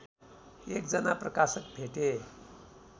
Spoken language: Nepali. एकजना प्रकाशक भेटे